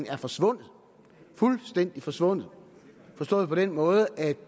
er forsvundet fuldstændig forsvundet forstået på den måde at